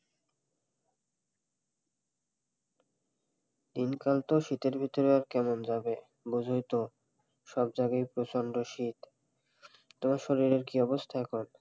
দিনকাল তো শীতের ভিতর কেমন যাবে কেমন যাবে বোঝই তো সব জায়গায় প্রচন্ড শীত তোমার শরীরের কি অবস্থা এখন?